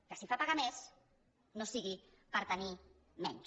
que si fa pagar més no sigui per tenir menys